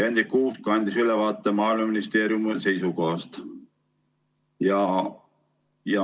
Hendrik Kuusk andis ülevaate Maaeluministeeriumi seisukohast.